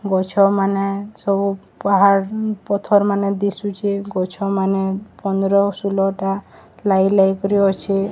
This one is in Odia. ଗଛମାନେ ସବୁ ପାହାଡ୍ ପଥର୍ ମାନେ ଦିଶୁଛି ଗଛମାନେ ପନ୍ଦର ଷୁଲଟା ଲାଗିଲାଗି କରି ଅଛେ।